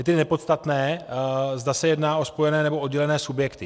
Je tedy nepodstatné, zda se jedná o spojené, nebo oddělené subjekty.